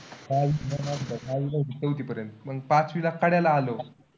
चौथीपर्यंत. म पाचवीला कड्याला आलो.